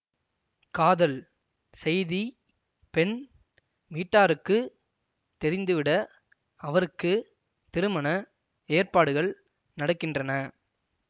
காதல் செய்தி பெண் வீட்டாருக்கு தெரிந்துவிட அவருக்கு திருமண ஏற்பாடுகள் நடக்கின்றன